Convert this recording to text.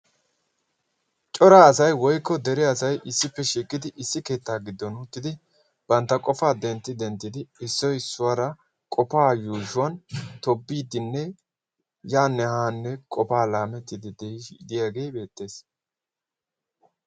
Cora asay woykko dere asay issippe shiiqidi issi keettaa giddon uuttidi bantta qofaa dentti denttidi issoi issuwaara qofaa yuushuwan tobiidinne yaa nehaanne qofaa laamettiddi diidiyaagee beettees.